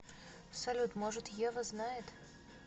салют может ева знает